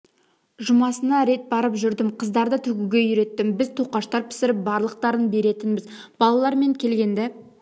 жұмасына рет барып жүрдім қыздарды тігуге үйреттім біз тоқаштар пісіріп барлықтарын беретінбіз балалар мен келгенді